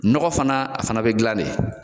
Nɔgɔ fana , a fana be gilan de.